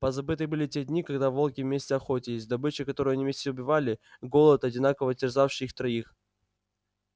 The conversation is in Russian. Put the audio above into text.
позабыты были те дни когда волки вместе охотились добыча которую они вместе убивали голод одинаково терзавший их троих